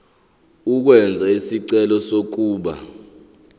ukwenza isicelo sokuba